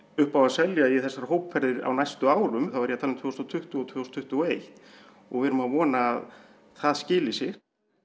upp á að selja í þessar hópferðir á næstu árum þá er ég að tala um tvö þúsund og tuttugu og tvö þúsund tuttugu og eitt og við erum að vona að það skili sér